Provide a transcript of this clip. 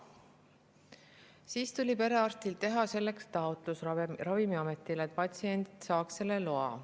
Siis tuli perearstil teha Ravimiametile taotlus, et patsient saaks selle loa.